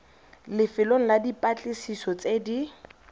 lefelong la dipatlisiso tse di